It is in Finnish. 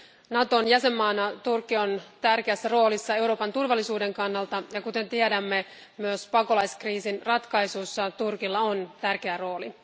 Naton jäsenmaana Turkki on tärkeässä roolissa Euroopan turvallisuuden kannalta, ja kuten tiedämme, myös pakolaiskriisin ratkaisussa Turkilla on tärkeä rooli.